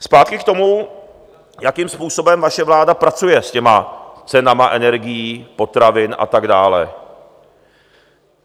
Zpátky k tomu, jakým způsobem vaše vláda pracuje s těmi cenami energií, potravin a tak dále.